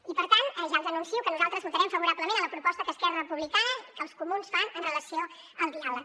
i per tant ja els anuncio que nosaltres votarem favorablement a la proposta que esquerra republicana i que els comuns fan amb relació al diàleg